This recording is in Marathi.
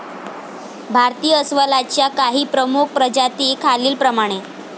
भारतीय अस्वलाच्या काही प्रमुख प्रजाती खालील प्रमाणे